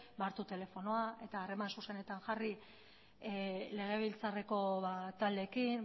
hartu telefonoa eta harreman zuzenetan jarri legebiltzarreko taldeekin